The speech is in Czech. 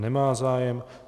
Nemá zájem.